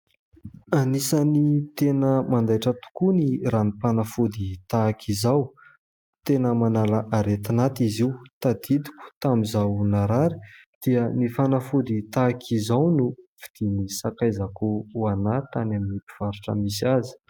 Anisany tena mandaitra tokoa ny ranom-panafody tahaka izao ; tena manala aretin'aty izy io. Tadidiko tamin'izaho narary dia ny fanafody tahaka izao no vidian'ny sakaizako ho ahy tany amin'ny mpivarotra misy azy.